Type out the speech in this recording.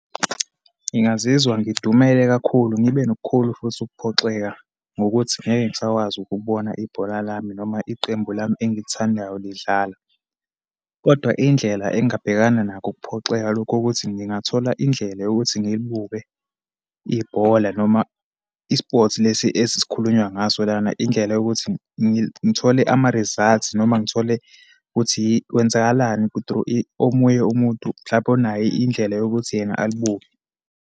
Ngingazizwa ngidumele kakhulu, ngibe nokukhulu futhi ukuphoxeka ngokuthi ngeke ngisakwazi ukubona ibhola lami, noma iqembu lami engilithandayo lidlala. Kodwa indlela engabhekana nakho ukuphoxeka lokhu, ukuthi ngingathola indlela yokuthi ngilibuke ibhola noma i-sports lesi esis'khulunywa ngaso lana. Indlela yokuthi ngithole ama-results noma ngithole ukuthi kwenzakalani through omunye umuntu, mhlampe onayo indlela yokuthi yena alibuke.